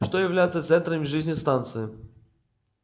что является центрами жизни станции